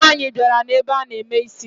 Nwaanyi biara na ebe ana eme isi